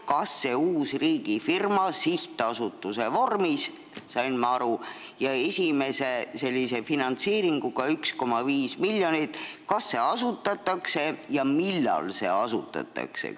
Kas see uus riigifirma sihtasutuse vormis, nagu ma aru sain, ja esimese finantseeringuga 1,5 miljonit, asutatakse ja millal see asutatakse?